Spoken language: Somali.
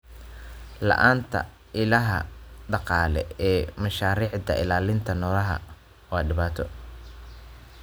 La'aanta ilaha dhaqaale ee mashaariicda ilaalinta noolaha waa dhibaato.